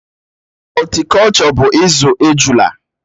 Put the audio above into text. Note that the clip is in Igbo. Họltikolchọ bụ izú ejula